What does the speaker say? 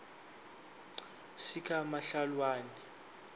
sikamhlawulani